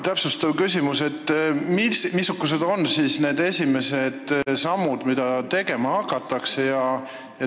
Täpsustav küsimus: mis on need esimesed sammud, mida tegema hakatakse?